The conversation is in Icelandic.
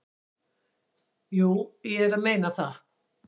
"""Jú, ég er að meina það."""